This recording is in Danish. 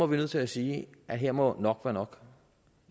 vi nødt til at sige at her må nok være nok